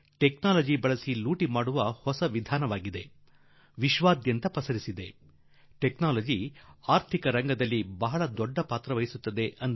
ತಂತ್ರಜ್ಞಾನದ ಮೂಲಕ ಲೂಟಿ ಹೊಡೆಯುವ ಹೊಸ ವಿಧಾನ ವಿಶ್ವಾದ್ಯಂತ ಹರಡುತ್ತಿದೆ ಹಾಗೂ ಇಂತಹ ತಂತ್ರಜ್ಞಾನ ಅರ್ಥವ್ಯವಸ್ಥೆಯಲ್ಲಿ ದೊಡ್ಡ ಪಾತ್ರ ವಹಿಸುತ್ತಿದೆ